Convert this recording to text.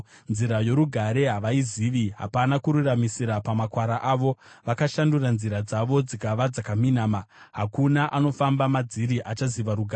Nzira yorugare havaizivi; hapana kururamisira pamakwara avo. Vakashandura nzira dzavo dzikava dzakaminama; hakuna anofamba madziri achaziva rugare.